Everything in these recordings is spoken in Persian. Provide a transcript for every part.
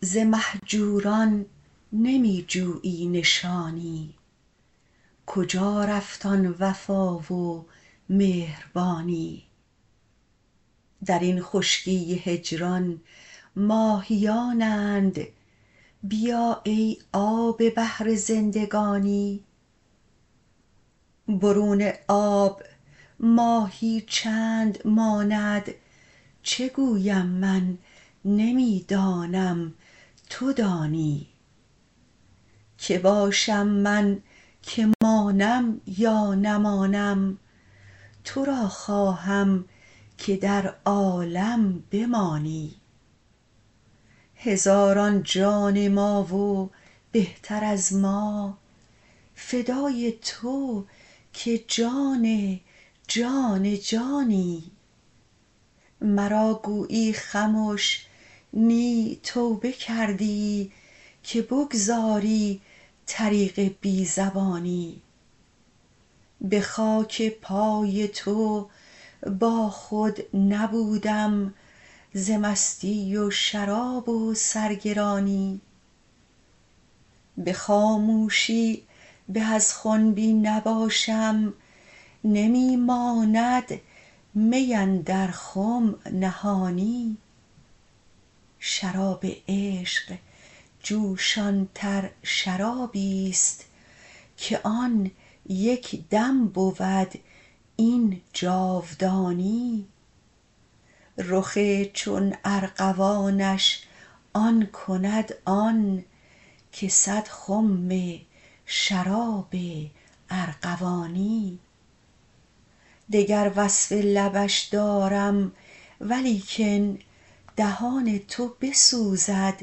ز مهجوران نمی جویی نشانی کجا رفت آن وفا و مهربانی در این خشکی هجران ماهیانند بیا ای آب بحر زندگانی برون آب ماهی چند ماند چه گویم من نمی دانم تو دانی کی باشم من که مانم یا نمانم تو را خواهم که در عالم بمانی هزاران جان ما و بهتر از ما فدای تو که جان جان جانی مرا گویی خمش نی توبه کردی که بگذاری طریق بی زبانی به خاک پای تو باخود نبودم ز مستی و شراب و سرگرانی به خاموشی به از خنبی نباشم نمی ماند می اندر خم نهانی شراب عشق جوشانتر شرابی است که آن یک دم بود این جاودانی رخ چون ارغوانش آن کند آن که صد خم شراب ارغوانی دگر وصف لبش دارم ولیکن دهان تو بسوزد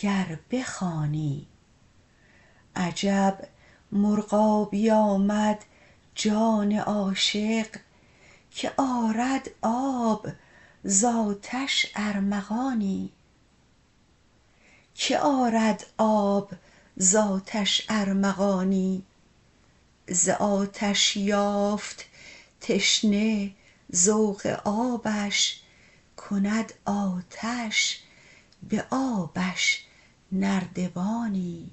گر بخوانی عجب مرغابی آمد جان عاشق که آرد آب ز آتش ارمغانی ز آتش یافت تشنه ذوق آبش کند آتش به آبش نردبانی